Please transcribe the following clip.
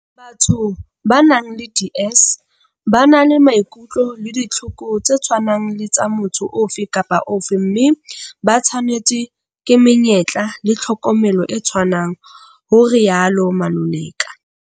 Batho ba nang le DS ba na le maikutlo le ditlhoko tse tshwanang le tsa motho ofe kapa ofe mme ba tshwanetswe ke menyetla le tlhokomelo e tshwanang, ho rialo Maluleka.